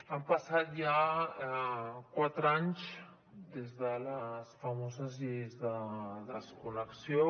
han passat ja quatre anys des de les famoses lleis de desconnexió